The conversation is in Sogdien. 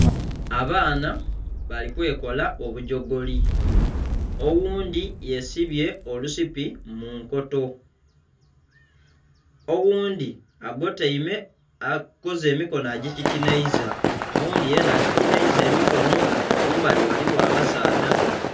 Abaana bali kwekola obujogoli. Oghundi yesibye olusipi mu nkoto, oghundi agotaime akoze emikono ajikikinaiza n' oghundi akikinaiza emikono. Mumbali waliwo abasaadha.